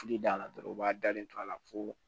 Fili d'a la dɔrɔn u b'a dalen to a la fo